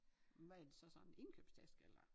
Hvad er det sådan en indkøbstaske eller?